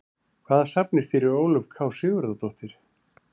Hvaða safni stýrir Ólöf K Sigurðardóttir?